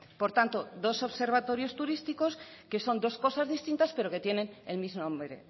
por tanto dos observatorios turísticos que son dos cosas distintas pero que tienen el mismo nombre